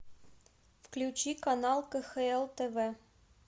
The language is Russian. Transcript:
включи канал кхл тв